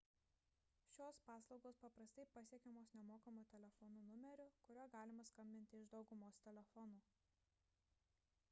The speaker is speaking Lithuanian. šios paslaugos paprastai pasiekiamos nemokamu telefonu numeriu kuriuo galima skambinti iš daugumos telefonų